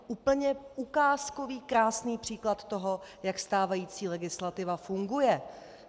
Úplně ukázkový krásný příklad toho, jak stávající legislativa funguje.